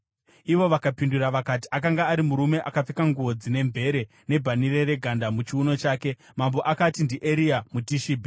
Ivo vakapindura vakati, “Akanga ari murume akapfeka nguo dzine mvere nebhanhire reganda muchiuno chake.” Mambo akati, “NdiEria muTishibhi.”